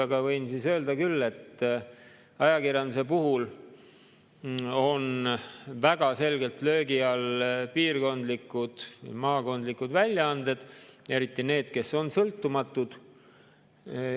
Aga võin öelda küll, et ajakirjanduse puhul on väga selgelt löögi all piirkondlikud või maakondlikud väljaanded, eriti need, kes on sõltumatud.